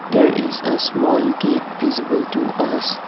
there is a small gate visible to us.